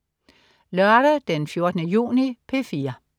Lørdag den 14. juni - P4: